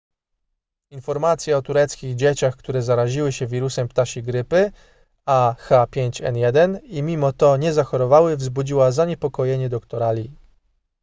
informacja o tureckich dzieciach które zaraziły się wirusem ptasiej grypy ah5n1 i mimo to nie zachorowały wzbudziła zaniepokojenie doktora lee